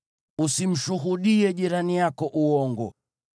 Usimshuhudie jirani yako uongo.